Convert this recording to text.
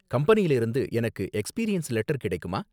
கம்பெனியில இருந்து எனக்கு எக்ஸ்பீரியன்ஸ் லெட்டர் கிடைக்குமா?